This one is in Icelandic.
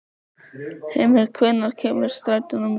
Hymir, hvenær kemur strætó númer tíu?